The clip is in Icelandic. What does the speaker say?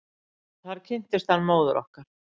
Þar kynntist hann móður okkar.